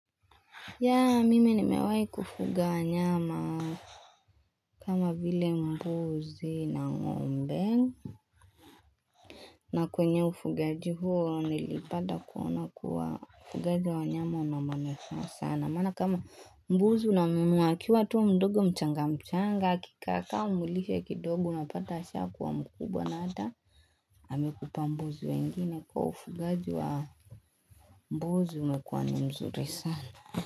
Yaa mimi nimewai kufuga wanyama kama vile mbuzi na ng'ombe na kwenye ufugaji huo nilipata kuona kuwa ufugaji wa nyama una manufaa sana maana kama mbuzi unamnunua akiwa tu mdogo mchanga mchanga akikaakaa umlishe kidogo unapata ashakuwa mkubwa na hata amekupa mbuzi wengine kwa ufugaji wa mbuzi umekuwa ni mzuri sana.